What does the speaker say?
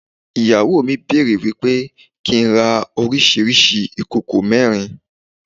Ìyàwó mi bẹ̀rẹ̀ wípé kí n rà oríṣiríṣi ìkòkò mẹ́rin.